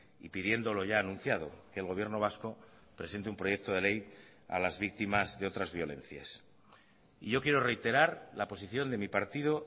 y pidiendo lo ya anunciado que el gobierno vasco presente un proyecto de ley a las víctimas de otras violencias y yo quiero reiterar la posición de mi partido